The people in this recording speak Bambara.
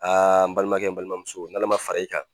Aa n balimakɛ n balimamuso n'Ala ma fara i kan